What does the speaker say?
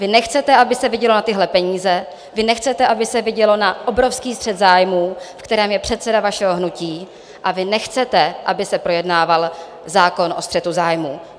Vy nechcete, aby se vidělo na tyhle peníze, vy nechcete, aby se vidělo na obrovský střet zájmů, ve kterém je předseda vašeho hnutí, a vy nechcete, aby se projednával zákon o střetu zájmů.